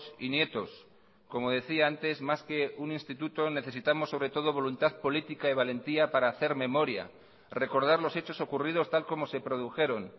y nietos como decía antes más que un instituto necesitamos sobre todo voluntad política y valentía para hacer memoria recordar los hechos ocurridos tal como se produjeron